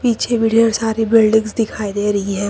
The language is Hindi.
पीछे भी ढेर सारी बिल्डिंग्स दिखाई दे रही है।